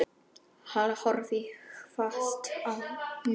Halla horfði hvasst á mig.